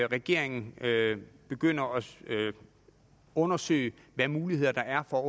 regeringen begynder at undersøge hvilke muligheder der er for